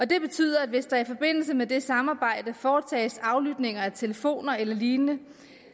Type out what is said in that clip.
det betyder at hvis der i forbindelse med det samarbejde foretages aflytninger af telefoner eller lignende